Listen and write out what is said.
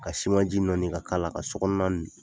Ka siman ji nɔɔni ka kala ka